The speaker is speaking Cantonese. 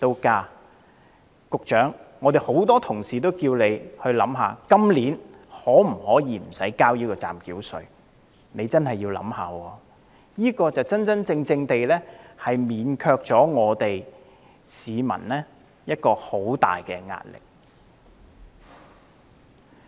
局長，很多同事均要求你考慮今年豁免繳交暫繳稅，你必須認真考慮，因為此舉能真正免卻市民的沉重壓力。